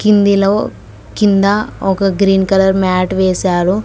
ఇందిలో కింద ఒక green colour mat వేశారు.